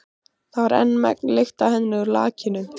Það var enn megn lykt af henni úr lakinu.